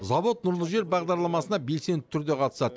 завод нұрлы жер бағдарламасына белсенді түрде қатысады